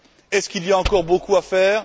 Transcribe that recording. Est ce qu'il y a encore beaucoup à faire?